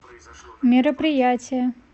мероприятия